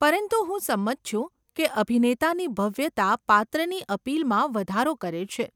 પરંતુ હું સંમત છું કે અભિનેતાની ભવ્યતા પાત્રની અપીલમાં વધારો કરે છે.